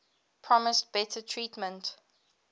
promised better treatment